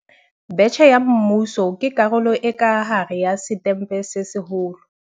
Betjhe ya Mmuso ke karolo e ka hare ya Setempe se Seholo.